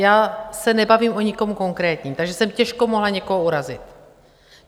Já se nebavím o nikom konkrétním, takže jsem těžko mohla někoho urazit.